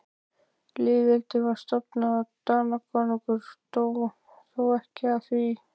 Lýðveldið var stofnað og Danakonungur dó, þó ekki af því.